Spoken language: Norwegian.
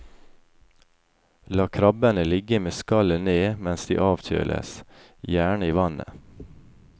La krabbene ligge med skallet ned mens de avkjøles, gjerne i vannet.